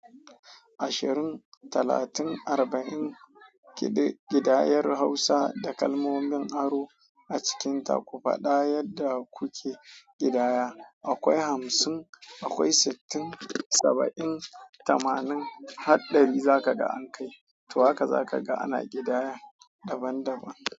Ashirin, talatin, arba'in kiɗ-- kiɗayen Hausa da kalmomin aro a cikinta ku faɗa yadda kuke kiɗaya. Akwai hamsin, akwai sittin, saba'in, tamanin har ɗari za ka ga an kai. To haka za ka ga ana kiɗaya daban daban.